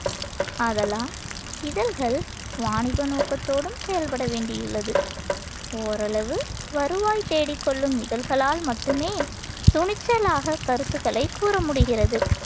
ஆதலால் இதழ்கள் வாணிப நோக்கத்தோடும் செயல்பட வேண்டியுள்ளது. ஓரளவு வருவாய் தேடிக்கொள்ளும் இதழ்களால் மட்டுமே துணிச்சலாகக் கருத்துக்களைக் கூறமுடிகிறது.